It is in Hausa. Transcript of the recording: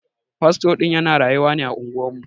Fasto din ya na rayuwa ne a unguwar mu.